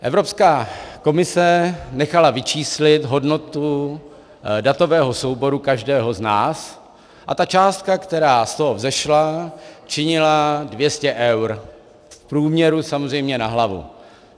Evropská komise nechala vyčíslit hodnotu datového souboru každého z nás a ta částka, která z toho vzešla, činila 200 eur, v průměru samozřejmě na hlavu.